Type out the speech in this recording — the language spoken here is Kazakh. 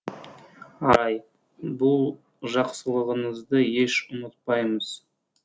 арай бұл жақсылығыңызды еш ұмытпаймыз